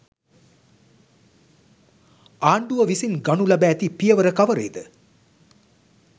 ආණ්ඩුව විසින් ගනු ලැබ ඇති පියවර කවරේද